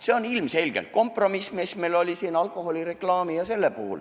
See on ilmselgelt kompromiss, mis on tehtud seoses alkoholireklaamiga.